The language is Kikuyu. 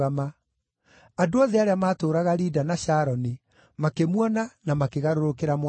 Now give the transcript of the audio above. Andũ othe arĩa maatũũraga Lida na Sharoni makĩmuona na makĩgarũrũkĩra Mwathani.